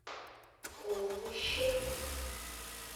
овощи